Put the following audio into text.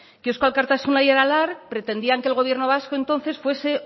que eusko alkartasuna y aralar pretendían que el gobierno vasco entonces fuese